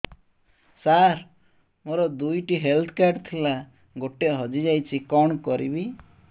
ସାର ମୋର ଦୁଇ ଟି ହେଲ୍ଥ କାର୍ଡ ଥିଲା ଗୋଟେ ହଜିଯାଇଛି କଣ କରିବି